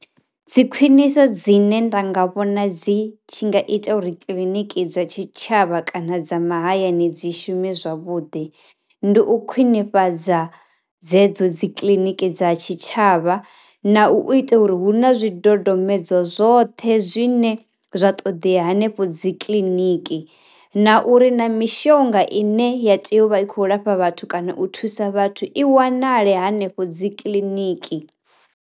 Dzi khwiniso dzine nda nga vhona dzi tshi nga ita uri kiḽiniki dza tshi tshavha kana dza mahayani dzi shumi zwavhuḓi, ndi u khwinifhadza dzedzo dzi kiḽiniki dza tshitshavha na u ita uri hu na zwi dodombedzwa zwoṱhe zwine zwa ṱoḓea hanefho dzi kiḽiniki, na uri na mishonga i ne ya tea u vha i kho lafha vhathu kana u thusa vhathu i wanale hanefho dzi kiḽiniki.